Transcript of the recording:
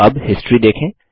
अब हिस्ट्री देखें